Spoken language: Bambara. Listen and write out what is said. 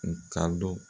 U ka don